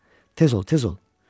Tez ol, tez ol!